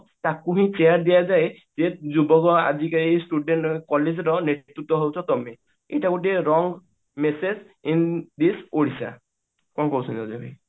ତାକୁ ହିଁ chair ଦିଆଯାଏ ଯେ ଯୁବକ ଆଜିକାଲି student ମାନେ collage ର ନେତୃତ୍ଵ ହାଉଚ ତମେ ଏଇଟା ଗୋଟିଏ wrong message in this Odisha କଣ କହୁଛନ୍ତି ଅଜୟ ଭାଇ